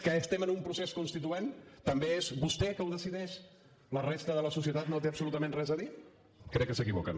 que estem en un procés constituent també és vostè que ho decideix la resta de la societat no hi té absolutament res a dir crec que s’equivoquen